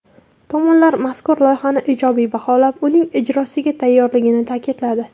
Tomonlar mazkur loyihani ijobiy baholab, uning ijrosiga tayyorligini ta’kidladi.